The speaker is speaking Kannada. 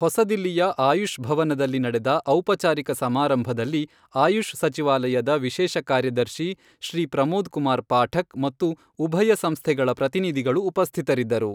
ಹೊಸದಿಲ್ಲಿಯ ಆಯುಷ್ ಭವನದಲ್ಲಿ ನಡೆದ ಔಪಚಾರಿಕ ಸಮಾರಂಭದಲ್ಲಿ ಆಯುಷ್ ಸಚಿವಾಲಯದ ವಿಶೇಷ ಕಾರ್ಯದರ್ಶಿ ಶ್ರೀ ಪ್ರಮೋದ್ ಕುಮಾರ್ ಪಾಠಕ್, ಮತ್ತು ಉಭಯ ಸಂಸ್ಥೆಗಳ ಪ್ರತಿನಿಧಿಗಳು ಉಪಸ್ಥಿತರಿದ್ದರು.